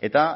eta